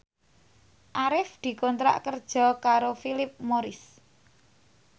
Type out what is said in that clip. Arif dikontrak kerja karo Philip Morris